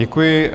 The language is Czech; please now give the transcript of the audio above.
Děkuji.